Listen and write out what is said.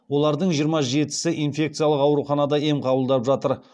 олардың жиырма жетісі инфекциялық ауруханада ем қабылдап жатыр